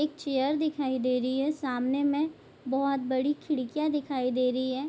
एक चेयर दिखाई दे रही है सामने में बहुत बड़ी खिड़कियाँ दिखाई दे रही हैं।